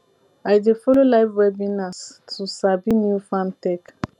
i dey follow live webinars to sabi new farm tech